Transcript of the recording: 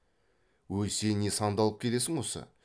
өй сен не сандалып келесің осы